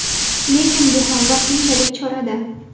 Lekin bu ham vaqtinchalik chora-da.